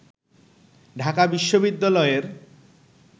ঢাকা বিশ্ববিদ্যালয়ের